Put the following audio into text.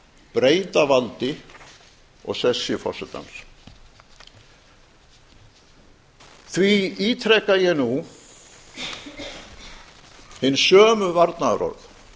breyta valdi og sessi forsetans því ítreka ég nú hin sömu varnaðarorð